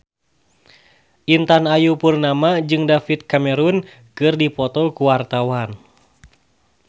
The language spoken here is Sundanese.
Intan Ayu Purnama jeung David Cameron keur dipoto ku wartawan